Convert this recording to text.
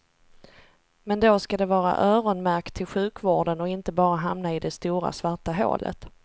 Men då skall det vara öronmärkt till sjukvården och inte bara hamna i det stora svarta hålet.